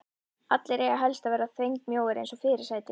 Allir eiga helst að vera þvengmjóir eins og fyrirsætur.